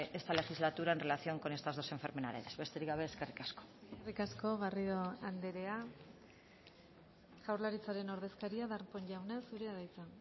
esta legislatura en relación con estas dos enfermedades besterik gabe eskerrik asko eskerrik asko garrido andrea jaurlaritzaren ordezkaria darpón jauna zurea da hitza